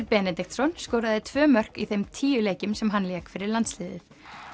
Benediktsson skoraði tvö mörk í þeim tíu leikjum sem hann lék fyrir landsliðið